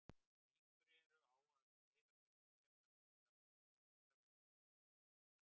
Líkur eru á að um tveir af hverju þremur slíkra árekstra verði í úthöfunum.